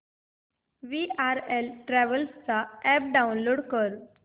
VRL travels चा app download कर